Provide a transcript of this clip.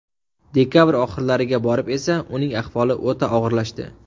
Dekabr oxirlariga borib esa uning ahvoli o‘ta og‘irlashdi.